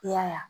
I y'a ye